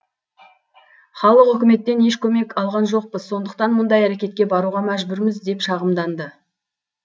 халық үкіметтен еш көмек алған жоқпыз сондықтан мұндай әрекетке баруға мәжбүрміз деп шағымданды